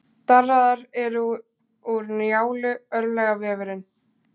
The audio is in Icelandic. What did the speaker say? Darraðar er úr Njálu, örlagavefurinn.